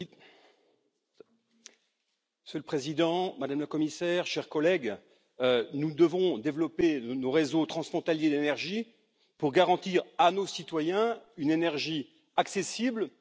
Monsieur le Président, Madame la Commissaire, chers collègues, nous devons développer nos réseaux transfrontaliers d'énergie pour garantir à nos citoyens une énergie accessible, sûre et durable.